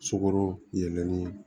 Sukoro yɛlɛmini